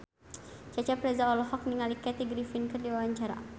Cecep Reza olohok ningali Kathy Griffin keur diwawancara